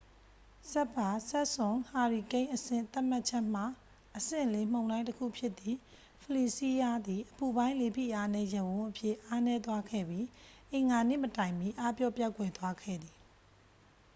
စပ်ဖာ-စန့်ပ်စွန် ဟာရီကိန်းအဆင့်သတ်မှတ်ချက်မှ အဆင့် 4 မုန်တိုင်းတစ်ခုဖြစ်သည့် ဖလီစီးရား သည် အပူပိုင်း လေဖိအားနည်းရပ်ဝန်းအဖြစ် အားနည်းသွားခဲ့ပြီး အင်္ဂါနေ့မတိုင်မီ အားပျော့ပျောက်ကွယ်သွားခဲ့သည်